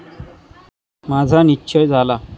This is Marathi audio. माझा निश्चय झाला.